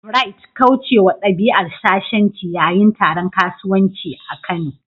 Bright', kaucewa dabi'ar shashanci yayin taron kasuwanci a Kano.